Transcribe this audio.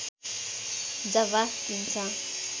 जबाफ दिन्छ